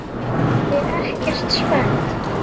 ÉG ER EKKERT SPENNT!